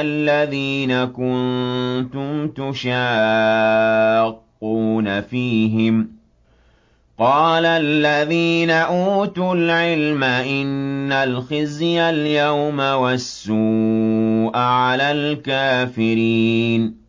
الَّذِينَ كُنتُمْ تُشَاقُّونَ فِيهِمْ ۚ قَالَ الَّذِينَ أُوتُوا الْعِلْمَ إِنَّ الْخِزْيَ الْيَوْمَ وَالسُّوءَ عَلَى الْكَافِرِينَ